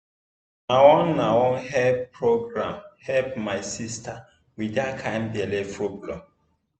na one na one health program help my sister with that kind belly problem.